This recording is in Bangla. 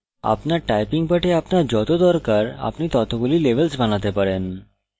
আপনার typing পাঠে আপনার যত দরকার আপনি ততগুলি levels বানাতে পারেন